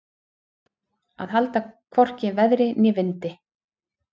Að halda hvorki veðri né vindi